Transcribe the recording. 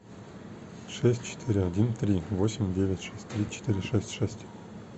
шесть четыре один три восемь девять шесть три четыре шесть шесть